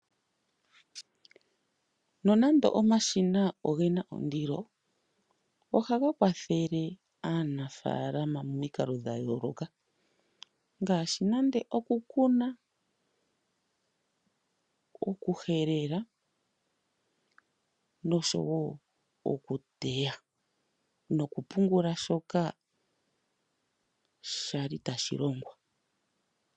Nonande omashina ogena ondilo ohaga kwathele aanafaalama momikalo dhayooloka ngaashi nande oku kuna, okuhelela nosho woo oku teya nokupungula shoka kwali tashi longwa.